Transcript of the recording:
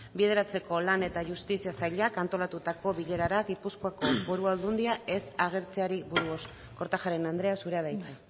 bideratzeko lan eta justizia sailak antolatutako bilerara gipuzkoako foru aldundia ez agertzeari buruz kortajarena andrea zurea da hitza